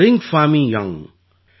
ரிங்ஃபாமீ young